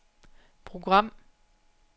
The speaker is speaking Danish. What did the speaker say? program